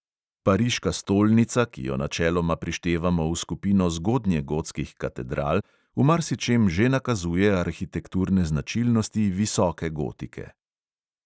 Pariška stolnica, ki jo načeloma prištevamo v skupino zgodnjegotskih katedral, v marsičem že nakazuje arhitekturne značilnosti visoke gotike.